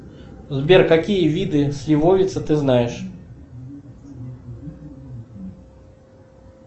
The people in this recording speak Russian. сбер какие виды сливовицы ты знаешь